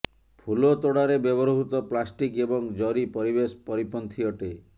ଫୁଲତୋଡ଼ାରେ ବ୍ୟବହୃତ ପ୍ଲାଷ୍ଟିକ ଏବଂ ଜରି ପରିବେଶ ପରିପନ୍ଥୀ ଅଟେ